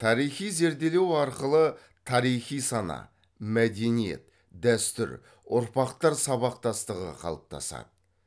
тарихи зерделеу арқылы тарихи сана мәдениет дәстүр ұрпақтар сабақтастығы қалыптасады